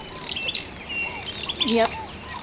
ха-ха нет